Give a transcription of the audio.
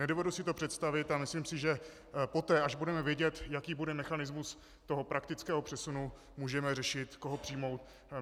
Nedovedu si to představit a myslím si, že poté, až budeme vědět, jaký bude mechanismus toho praktického přesunu, můžeme řešit, koho přijmout.